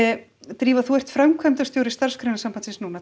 drífa þú ert framkvæmdastjóri Starfsgreinasambandsins núna